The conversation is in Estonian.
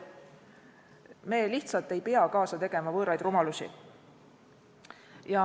Me lihtsalt ei pea kaasa tegema võõraid rumalusi.